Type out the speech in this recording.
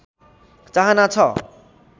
चाहना छ